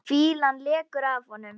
Fýlan lekur af honum.